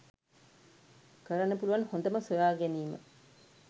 කරන්න පුලුවන් හොඳම සොයා ගැනීම‍.